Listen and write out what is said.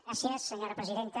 gràcies senyora presidenta